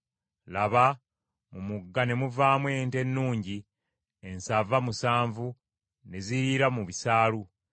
laba mu mugga ne muvaamu ente ennungi ensava musanvu, ne ziriira mu bisaalu.